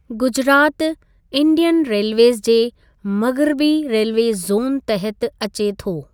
Gujarat Indian railways जे मग़िरबी railway zone तहत अचे थो।